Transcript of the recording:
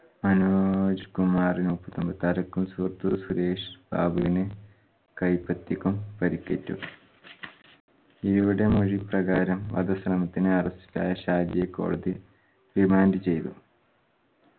മനോജ്‌കുമാറിനൊപ്പം സുരേഷ് ബാബുവിന് കൈപ്പത്തിക്കും പരുക്കേറ്റു. യുടെ മൊഴി പ്രകാരം വധശ്രമത്തിന് arrest ഇലായ ഷാജിയെ കോടതി remand ചെയ്തു